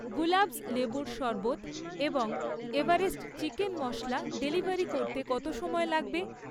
গুলাবস্ লেবুর শরবৎ এবং এভারেস্ট চিকেন মশলা ডেলিভারি করতে কত সময় লাগবে?